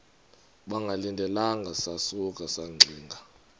bengalindelanga sasuka saxinga